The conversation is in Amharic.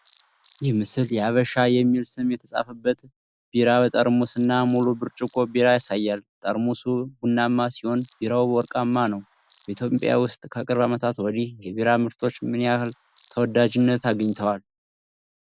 ይህ ምስል የ"ሐበሻ" (Habesha) የሚል ስም የተጻፈበትን ቢራ ጠርሙስ እና ሙሉ ብርጭቆ ቢራ ያሳያል። ጠርሙሱ ቡናማ ሲሆን፣ ቢራው ወርቃማ ነው። በኢትዮጵያ ውስጥ ከቅርብ ዓመታት ወዲህ የቢራ ምርቶች ምን ያህል ተወዳጅነት አግኝተዋል?